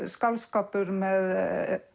skáldskapur með